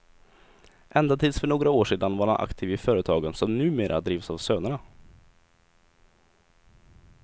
Ända tills för några år sedan var han aktiv i företagen som numera drivs av sönerna.